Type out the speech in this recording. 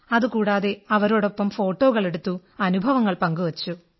അതുകൂടാതെ അവരോടൊപ്പം ഫോട്ടോകളെടുത്തു അനുഭവങ്ങൾ പങ്കുവച്ചു